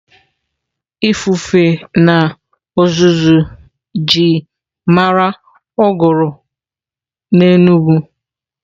Ifufe na uzuzu ji mara uguru n'Enugwu.